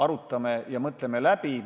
Arutame ja mõtleme läbi.